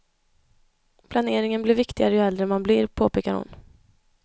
Planeringen blir viktigare ju äldre man blir, påpekar hon.